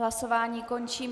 Hlasování končím.